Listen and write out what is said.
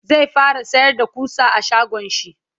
zai fara sayar da ƙusa a shagonshi